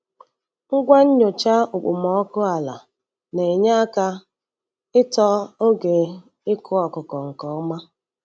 Ngwa nnyocha okpomọkụ ala na-enye aka ịtọ oge ịkụ ọkụkọ nke ọma.